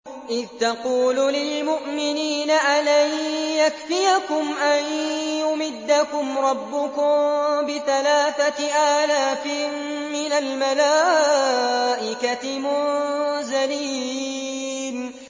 إِذْ تَقُولُ لِلْمُؤْمِنِينَ أَلَن يَكْفِيَكُمْ أَن يُمِدَّكُمْ رَبُّكُم بِثَلَاثَةِ آلَافٍ مِّنَ الْمَلَائِكَةِ مُنزَلِينَ